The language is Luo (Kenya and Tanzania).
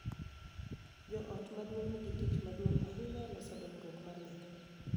Jo ot maduong� nigi tich maduong� ahinya e loso dongruok mar nyathi,